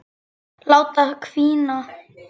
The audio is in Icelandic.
Láta hvína.